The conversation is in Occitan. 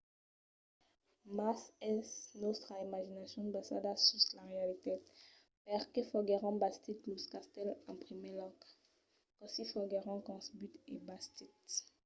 mas es nòstra imaginacion basada sus la realitat? perqué foguèron bastits los castèls en primièr lòc? cossí foguèron concebuts e bastits?